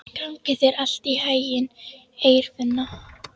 Gangi þér allt í haginn, Eirfinna.